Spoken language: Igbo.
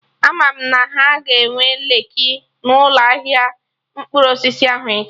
Ama m na ha ga-enwe leeki na ụlọ ahịa mkpụrụ osisi ahụ echi